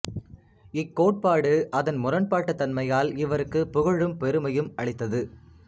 இக்கோட்பாடு அதன் முரண்பாட்டுத் தன்மையால் இவருக்குப் புகழும் பெருமையும் அளித்தது